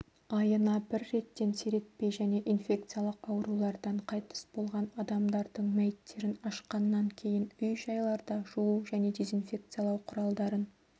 айына бір реттен сиретпей және инфекциялық аурулардан қайтыс болған адамдардың мәйіттерін ашқаннан кейін үй-жайларда жуу және дезинфекциялау құралдарын